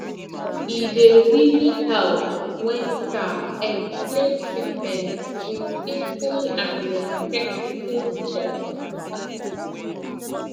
e dey really help when staff explain treatment with simple and respectful talk